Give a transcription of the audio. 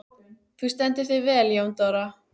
Þú stendur þig vel, Jóndóra!